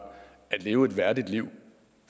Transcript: at leve et værdigt liv